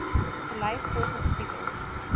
gelys volgens titel